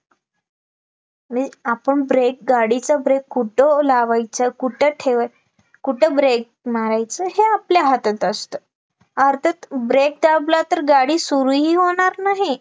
आपण brake गाडीचा brake कुठं लावायचा? कुठं ठेव कुठं brake मरायचं हे आपल्या हातात असते, अर्थात brake दाबला तर गाडी सुरू ही होणार नाही